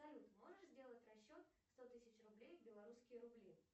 салют можешь сделать расчет сто тысяч рублей в белорусские рубли